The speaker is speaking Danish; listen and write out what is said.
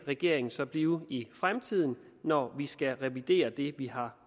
regeringen så blive i fremtiden når vi skal revidere det vi har